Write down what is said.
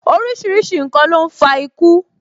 Orísìírísìí n kan ló ń fa iku